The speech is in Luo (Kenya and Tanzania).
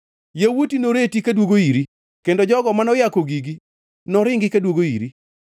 Yawuoti noreti kaduogo iri kendo jogo manoyako gigi noringi kaduogo iri.